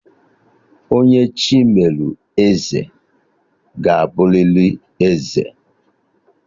Onye Chi melụ eze ga-abụlịlị eze